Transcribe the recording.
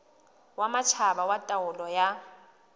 wa matjhaba wa taolo ya